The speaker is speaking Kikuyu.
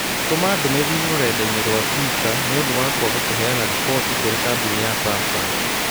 Tũma ndũmĩrĩri rũrenda-inī rũa tũita niũndu wa kwaga kuheana riboti kũrĩĩ kambuni ya samsung